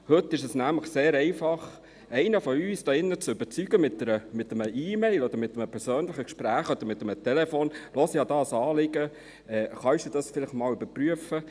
Heute ist es nämlich sehr einfach, einen von uns hier zu überzeugen, sei es mit einer E-Mail, einem persönlichen oder einem Telefongespräch, im Sinne von: Ich habe ein Anliegen, kannst du das vielleicht einmal überprüfen?